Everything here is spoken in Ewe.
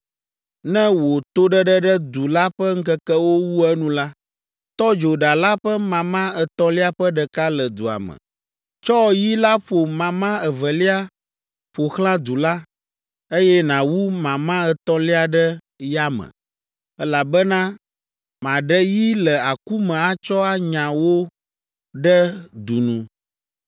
Ne wò toɖeɖe ɖe du la ƒe ŋkekewo wu enu la, tɔ dzo ɖa la ƒe mama etɔ̃lia ƒe ɖeka le dua me. Tsɔ yi la ƒo mama evelia ƒo xlã du la, eye nàwu mama etɔ̃lia ɖe yame, elabena maɖe yi le aku me atsɔ anya wo ɖe du nu.